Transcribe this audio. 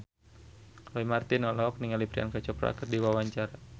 Roy Marten olohok ningali Priyanka Chopra keur diwawancara